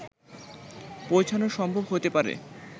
পৌঁছানো সম্ভব হতে পারে